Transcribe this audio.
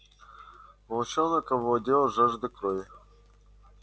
волчонок овладела жажда крови